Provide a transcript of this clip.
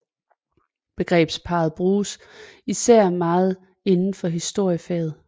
Begrebsparret bruges især meget inden for historiefaget